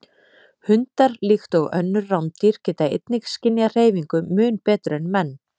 Hundar, líkt og önnur rándýr, geta einnig skynjað hreyfingu mun betur en menn.